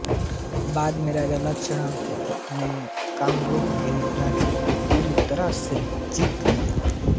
बाद में राजा लक्ष्मण सेन ने कामरूप के राज्य को पूरी तरह से जीत लिया